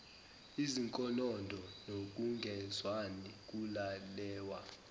izinkonondo nokungezwani kulalelwa